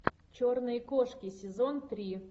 черные кошки сезон три